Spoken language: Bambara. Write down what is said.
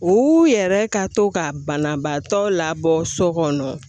U yɛrɛ ka to ka banabaatɔ labɔ so kɔnɔ